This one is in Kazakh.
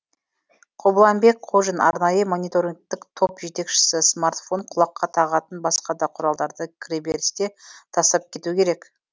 қобланбек қожин арнайы мониторингтік топ жетекшісі смартфон құлаққа тағатын басқа да құралдарды кіреберісте тастап кету керек